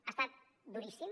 ha estat duríssim